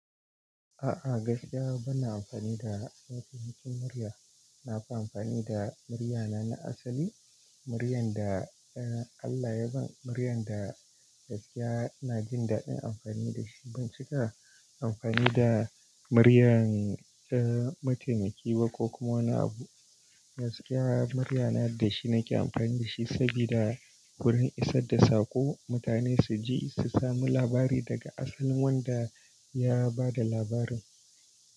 A'a gaskiya bana amfani da wasu hakin murya. Na fi amfani da muryana na asali, muryan da Allah ya ban, muryan da gaskiya ina jin daɗin amfani da shi. Ban cika amfani da muryan eh mataimaki ba ko kuma wani abu. Gaskiya muryana da shi nake amfani da shi saboda wurin isar da saƙo mutane su ji, su sami labari daga asalin wanda ya ba da labarin.